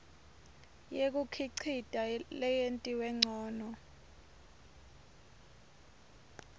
yekukhicita leyentiwe ncono